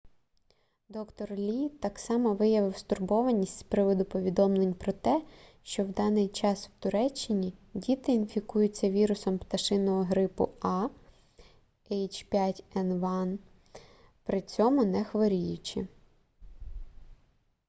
д-р лі так само виявив стурбованість з приводу повідомлень про те що в даний час в туреччині діти інфікуються вірусом пташиного грипу a h5n1 при цьому не хворіючи